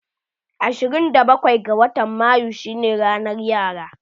Ashirin da bakwai ga watan mayu shine ranan yara.